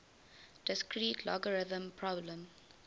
discrete logarithm problem